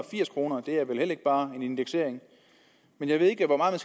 firs kroner det er vel heller ikke bare en indeksering jeg ved ikke hvor meget